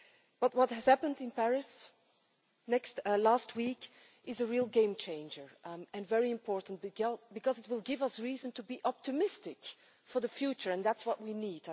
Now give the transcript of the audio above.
But what happened in Paris last week is a real game changer, and very important, because it will give us reason to be optimistic for the future and that is what we need.